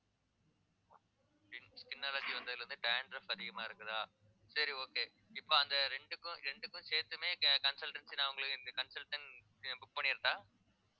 skin skin allergy வந்ததுல இருந்து dandruff அதிகமா இருக்குதா சரி okay இப்ப அந்த ரெண்டுக்கும் ரெண்டுக்கும் சேர்த்துமே co~ consultancy நான் உங்களுக்கு இந்த consultant book பண்ணிறட்டா